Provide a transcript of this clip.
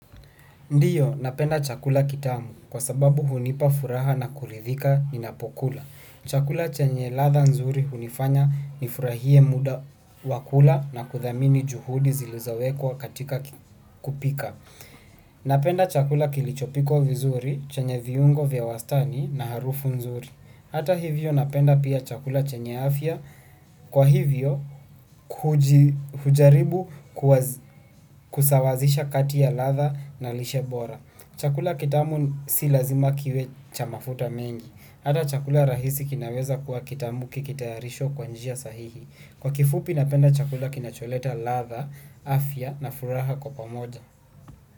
Ndiyo napenda chakula kitamu kwa sababu hunipa furaha na kuridhika ninapokula. Chakula chenye ladha nzuri hunifanya nifurahie muda wa kula na kuthamini juhudi zilizowekwa katika kupika. Napenda chakula kilichopikwa vizuri chenye viungo vya wastani na harufu nzuri. Hata hivyo napenda pia chakula chenye afya kwa hivyo kujaribu kusawazisha kati ya ladha na lishe bora. Chakula kitamu si lazima kiwe cha mafuta mengi. Hata chakula rahisi kinaweza kuwa kitamu kikitayarishwa kwa njia sahihi. Kwa kifupi napenda chakula kinacholeta ladha, afya na furaha kwa pamoja.